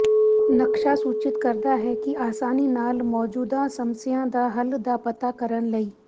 ਨਕਸ਼ਾ ਸੂਚਿਤ ਕਰਦਾ ਹੈ ਕਿ ਆਸਾਨੀ ਨਾਲ ਮੌਜੂਦਾ ਸਮੱਸਿਆ ਦਾ ਹੱਲ ਦਾ ਪਤਾ ਕਰਨ ਲਈ